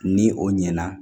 Ni o ɲɛna